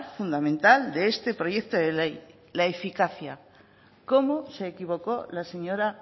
fundamental de este proyecto de ley la eficacia cómo se equivocó la señora